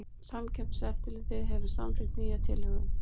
Samkeppniseftirlitið hefur samþykkt nýja tilhögun